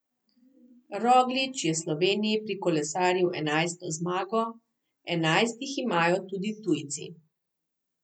Roglič je Sloveniji prikolesaril enajsto zmago, enajst jih imajo tudi tujci.